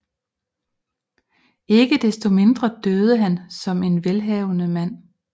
Ikke desto mindre døde han som en velhavende mand